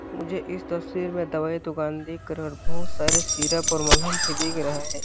मुझे इस तस्वीर में दवाई दुकान दिख रहे है बहुत सारे सिरप और मलहम भी दिख रहे है।